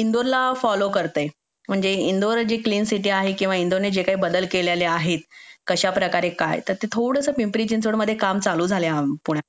इंदोरला follow करते आहे म्हणजे इंदोर जी क्लीन सिटी आहे किंवा इंदोर मी जे काही बदल केलेले आहेत कशाप्रकारे काय तर ते थोडसं पिंपरी चिंचवड मध्ये काम चालू झालं आहे पुण्यामध्ये